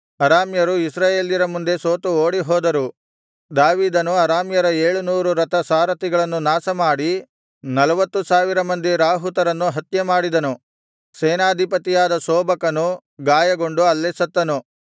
ಅರಾಮ್ಯರು ಇಸ್ರಾಯೇಲ್ಯರ ಮುಂದೆ ಸೋತು ಓಡಿಹೋದರು ದಾವೀದನು ಅರಾಮ್ಯರ ಏಳುನೂರು ರಥ ಸಾರಥಿಗಳನ್ನು ನಾಶ ಮಾಡಿ ನಲ್ವತ್ತು ಸಾವಿರ ಮಂದಿ ರಾಹುತರನ್ನು ಹತ್ಯೆಮಾಡಿದನು ಸೇನಾಧಿಪತಿಯಾದ ಶೋಬಕನು ಗಾಯಗೊಂಡು ಅಲ್ಲೇ ಸತ್ತನು